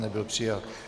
Nebyl přijat.